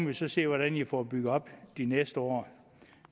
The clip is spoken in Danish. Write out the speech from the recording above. vi så se hvordan i får bygget den op de næste år